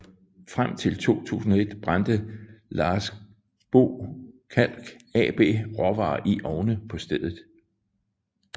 Frem til 2001 brændte Larsbo Kalk AB råvarer i ovne på stedet